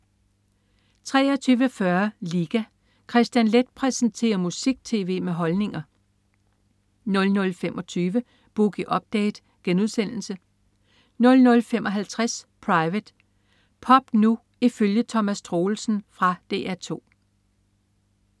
23.40 Liga. Kristian Leth præsenterer musik-tv med holdninger 00.25 Boogie Update* 00.55 Private. Pop nu ifølge Thomas Troelsen. Fra DR 2